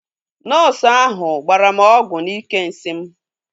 Nọọsu ahu gbara m ọgwụ n'ike nsị m